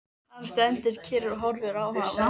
Hann stendur kyrr og horfir á hana.